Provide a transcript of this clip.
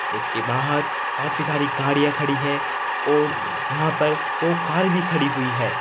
उसके बाहर काफी सारी गाड़ियां खड़ी हैं और यहां पर दो कार भी खड़ी हुई है।